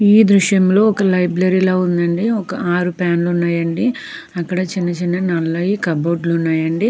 ఈ దృశ్యంలో ఒక లైబ్రరీల ఉందండి. ఒక ఆరు ఫ్యాన్లు ఉన్నాయండి. అక్కడ చిన్నచిన్న నల్లని కబోర్డ్ లు ఉన్నాయండి.